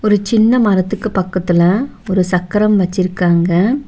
ஒரு சின்ன மரத்துக்கு பக்கத்துல ஒரு சக்கரம் வெச்சிருக்காங்க.